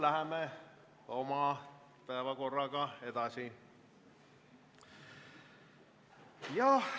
Läheme oma päevakorraga edasi.